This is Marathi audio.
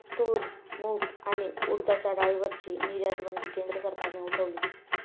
तूर, मूग आणि उडदाच्या डाळीवरची निर्यातबंदी केंद्र सरकारने उठवली